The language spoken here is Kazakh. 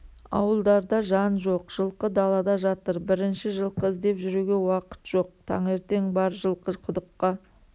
ауылдарда жан жоқ жылқы далада жатыр бірінші жылқы іздеп жүруге уақыт жоқ таңертең бар жылқы құдыққа